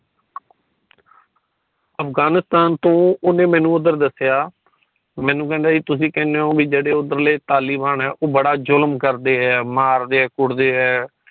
ਅਫ਼ਗ਼ਾਨਿਸਤਾਨ ਤੋਂ ਉਨੇ ਮੈਨੂੰ ਉਧਰ ਦੱਸਿਆ ਮੈਨੂੰ ਕੇਦਾ ਕਿ ਤੁਸੀ ਕੇਨੇ ਹੋ ਕਿ ਜੇੜੇ ਉਧਰ ਦੇ ਤਾਲਿਬਾਨ ਹੈ ਉਹ ਬੜਾ ਜ਼ੁਲਮ ਕਰਦੇ ਹੈ ਮਾਰਦੇ ਕੁੱਟਦੇ ਹੈ